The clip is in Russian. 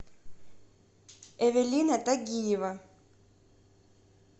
эвелина тагиева